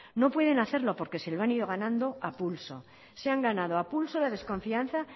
no pueden hacerlo porque se lo han ido ganando a pulso se han ganado a pulso la desconfianza